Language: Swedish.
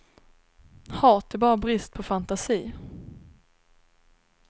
Hat är bara brist på fantasi.